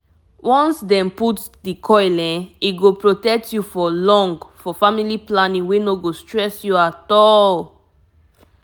if you do um coil e fit last for years belle no go near you for long.true true